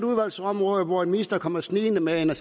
område hvor en minister kommer snigende med en